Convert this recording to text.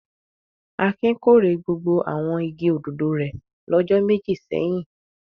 Akin kórè gbogbo àwọn igi òdòdó rẹ̀ lọ́jọ́ méjì sẹ́yìn.